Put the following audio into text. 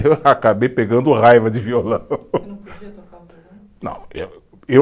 Eu acabei pegando raiva de violão. E não podia tocar o violão? Não eh, eu